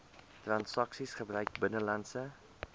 transaksies gebruik buitelandse